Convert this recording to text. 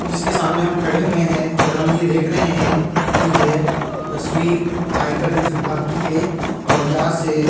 जिसके सामने हम खड़े हुए हैं और हम ये देख रहे हैं कि यह तस्वीर आयकर वित्त विभाग की है और यहां से --